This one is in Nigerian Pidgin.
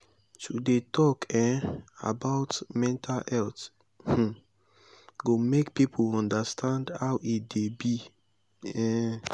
to dey tok um about mental health um go make people understand how e dey be. um